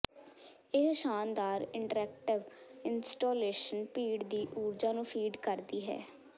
ਇਹ ਸ਼ਾਨਦਾਰ interactive installation ਭੀੜ ਦੀ ਊਰਜਾ ਨੂੰ ਫੀਡ ਕਰਦੀ ਹੈ